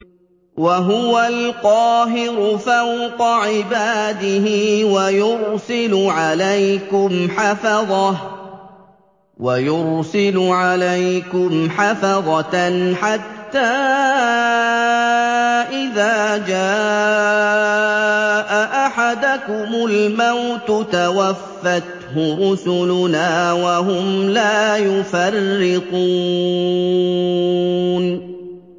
وَهُوَ الْقَاهِرُ فَوْقَ عِبَادِهِ ۖ وَيُرْسِلُ عَلَيْكُمْ حَفَظَةً حَتَّىٰ إِذَا جَاءَ أَحَدَكُمُ الْمَوْتُ تَوَفَّتْهُ رُسُلُنَا وَهُمْ لَا يُفَرِّطُونَ